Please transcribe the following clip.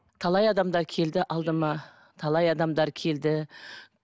талай адамдар келді алдыма талай адамдар келді